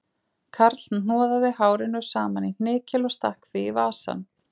Karl hnoðaði hárinu saman í hnykil og stakk því í vasann